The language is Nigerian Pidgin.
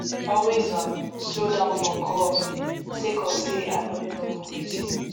always um slow down for curve sake of say i no know wetin